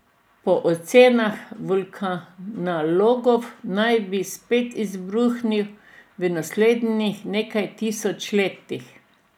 Po ocenah vulkanologov naj bi spet izbruhnil v naslednjih nekaj tisoč letih.